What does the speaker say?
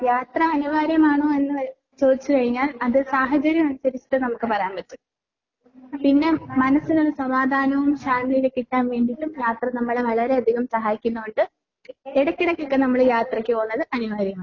യാത്ര അനിവാര്യമാണോ അല്ലയോ എന്ന് ചോദിച്ചു കഴിഞ്ഞാൽ അത് സാഹചര്യമനുസരിച്ചിട്ടേ നമുക്ക് പറയാൻ പറ്റൂ. പിന്നെ മനസ്സിന് ഒരു സമാധാനവും ശാന്തിയുമൊക്കെ കിട്ടാൻ വേണ്ടിട്ടും യാത്ര നമ്മളെ വളരെയധികം സഹായിക്കുന്നോണ്ട് ഇടക്കിടക്കൊക്കെ നമ്മള് യാത്രക്ക് പോകുന്നത് അനിവാര്യമാണ്.